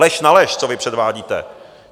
Lež na lež, co vy předvádíte.